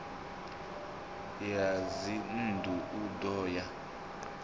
ya dzinnḓu u ḓo ya